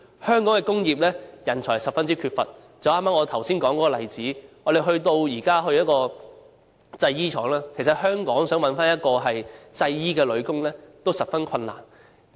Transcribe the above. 香港的工業人才十分缺乏，正如我剛才所引用的例子，我們到訪一間製衣廠，發現其實在香港想找一位製衣女工，都十分困難。